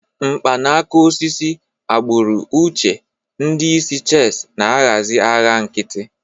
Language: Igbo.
Mkpanaka osisi, agbụrụ uche, ndị isi chess na-ahazi agha nkịtị.